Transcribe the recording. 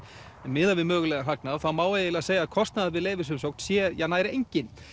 miðað við mögulegan hagnað má því segja að kostnaður við leyfisumsókn sé nær enginn